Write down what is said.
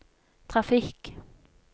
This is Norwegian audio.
trafikk